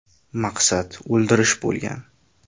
Maqsad o‘ldirish bo‘lgan.